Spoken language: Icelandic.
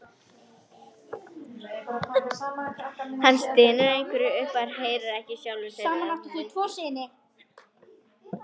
Hann stynur einhverju upp en heyrir ekki einu sinni sjálfur hvað það er.